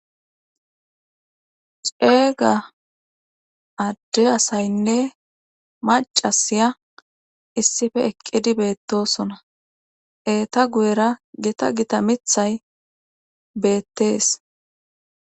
ceeyga adde asaynne macasiya issife eqqidi beettosona eeta guyera gita gita mithay beettees